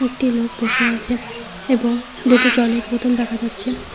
একটি লোক বসে আছে এবং দুটো জলের বোতল দেখা যাচ্ছে।